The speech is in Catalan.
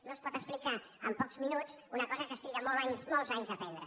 no es pot explicar en pocs minuts una cosa que es triga molts anys a aprendre